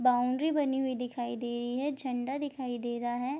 Boundary बनी हुई दिखाई दे रही है झंडा दिखाई दे रहा है।